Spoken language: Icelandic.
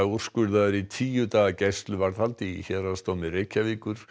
úrskurðaður í tíu daga gæsluvarðhald í Héraðsdómi Reykjavíkur